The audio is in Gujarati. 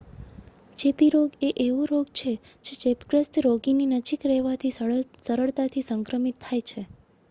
ચેપી રોગ એ એવો રોગ હોય છે જે ચેપગ્રસ્ત રોગીની નજીક રહેવાથી સરળતાથી સંક્રમિત થાય છે